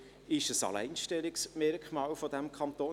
Es ist ein Alleinstellungsmerkmal dieses Kantons: